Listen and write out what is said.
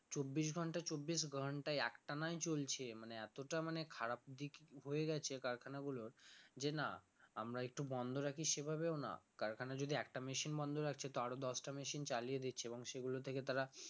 চব্বিশ ঘন্টা চব্বিশ ঘন্টা একটানাই চলছে মানে এতটা মানে খারাপ দিক হয়ে গেছে কারখানা গুলোর যে না আমরা একটু বন্ধ রাখি সেভাবেও না কারখানা যদি একটা machine বন্ধ রাখছে তো আরো দশটা machine চালিয়ে দিচ্ছে এবং সেগুলো থেকে তারা